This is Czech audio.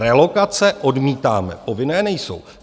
Relokace odmítáme, povinné nejsou.